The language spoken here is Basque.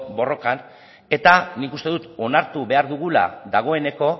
borrokan eta nik uste dut onartu behar dugula dagoeneko